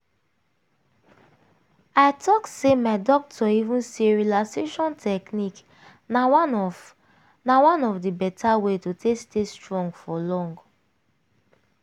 i talk say my doctor even say relaxation technique na one of na one of the beta way to take stay strong for long.